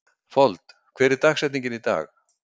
Fold, hver er dagsetningin í dag?